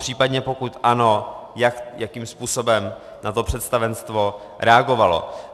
Případně, pokud ano, jakým způsobem na to představenstvo reagovalo?